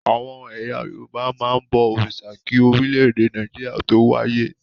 Àwọn ẹ̀yà Yorùbá máa ń bọ òrìṣà kí orílẹ̀-èdè Nàìjíríà tó wáyé.